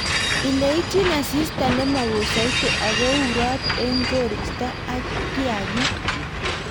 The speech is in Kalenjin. Ileityin asista nemowoo soiti ako urot en koristo ak kiakik.